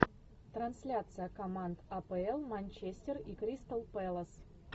трансляция команд апл манчестер и кристал пэлас